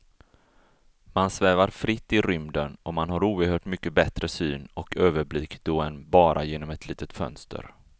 Man svävar fritt i rymden och man har oerhört mycket bättre syn och överblick då än bara genom ett litet fönster.